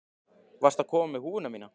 Varstu að koma með húfuna mína?